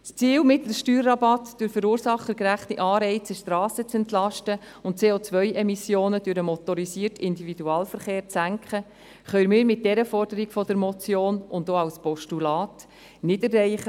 Das Ziel, mit dem Steuerrabatt durch verursachergerechte Anreize die Strassen zu entlasten und CO-Emissionen durch den motorisierten Individualverkehr zu senken, können wir mit dieser Forderung der Motion, aber auch als Postulat nicht erreichen.